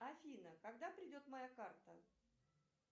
афина когда придет моя карта